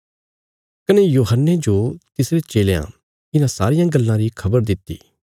कने यूहन्ने जो तिसरे चेलयां इन्हां सारियां गल्लां री खबर दित्ति